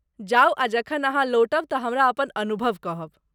जाउ आ जखन अहाँ लौटब तऽ हमरा अपन अनुभव कहब।